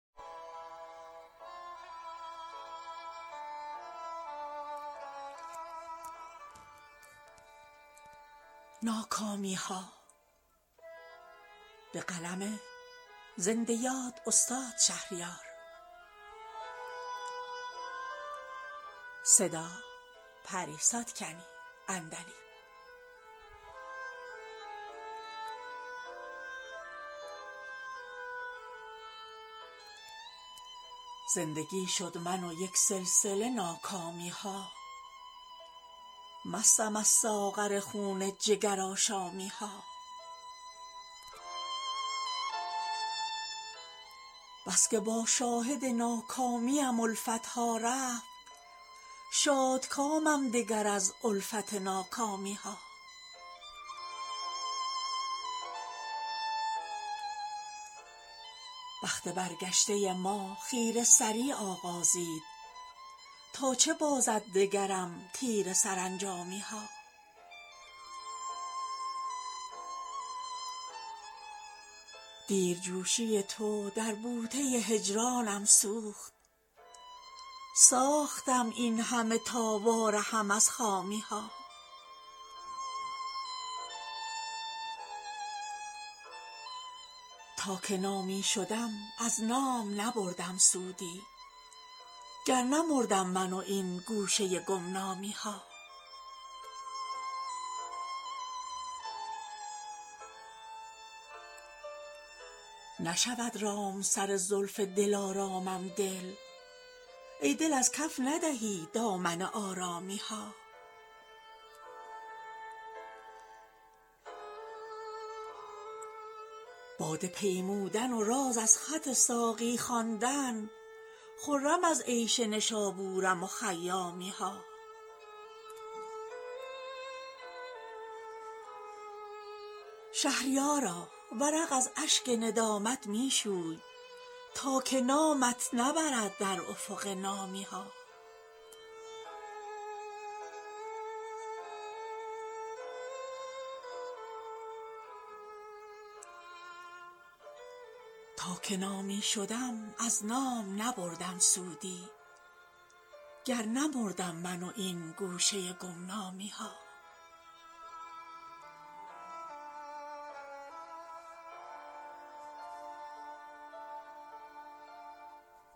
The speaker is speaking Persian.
زندگی شد من و یک سلسله ناکامی ها مستم از ساغر خون جگر آشامی ها بسکه با شاهد ناکامیم الفت ها رفت شادکامم دگر از الفت ناکامی ها بخت برگشته ما خیره سری آغازید تا چه بازد دگرم تیره سرانجامی ها دیرجوشی تو در بوته هجرانم سوخت ساختم این همه تا وارهم از خامی ها تا که نامی شدم از نام نبردم سودی گر نمردم من و این گوشه گمنامی ها نشود رام سر زلف دل آرامم دل ای دل از کف ندهی دامن آرامی ها باده پیمودن و راز از خط ساقی خواندن خرم از عیش نشابورم و خیامی ها شهریارا ورق از اشک ندامت میشوی تا که نامت نبرد در افق نامی ها